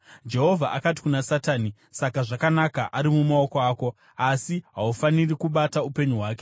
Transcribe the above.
Jehovha akati kuna Satani, “Saka zvakanaka, ari mumaoko ako, asi haufaniri kubata upenyu hwake.”